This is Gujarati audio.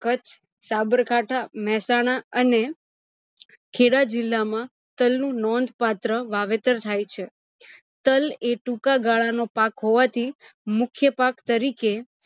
કચ્છ, સાબરકાઠા, મહેસાણા અને ખેડા જીલ્લા માં તલ નું નોંધ પત્ર વાવેતર થાય છે તલ એ ટુકા ગાળા નો પાક હોવાથી મુખ્ય પાક તરીકે